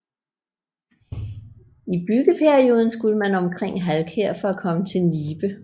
I byggeperioden skulle man omkring Halkær for at komme til Nibe